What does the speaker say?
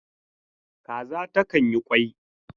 Kaza ta kan yi kwai.